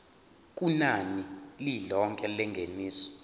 kunani lilonke lengeniso